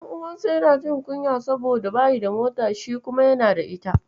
Ɗan'uwansa yana jin kunya saboda bashi da mota, shi kuma yana da ita.